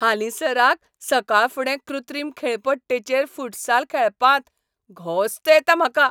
हालींसराक, सकाळफुडें कृत्रीम खेळपट्टेचेर फुटसाल खेळपांत घोस्त येता म्हाका.